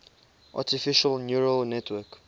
artificial neural network